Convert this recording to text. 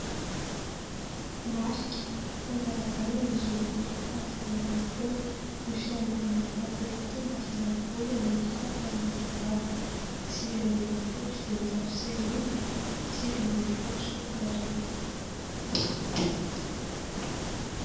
Marika fankalazana ny jaobily faha dimampolo taona ny Fiangonana Katôlika Masindahy Paoly Ambodisatrana Sambava, sivy amby enimpolo sy eninjato sy arivo, sivy amby folo sy roa arivo.